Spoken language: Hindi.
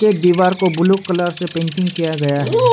ये दीवार को ब्लू कलर से पेंटिंग किया गया है।